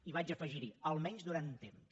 i vaig afegirhi almenys durant un temps